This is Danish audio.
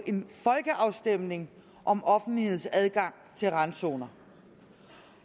en folkeafstemning om offentlighedens adgang til randzoner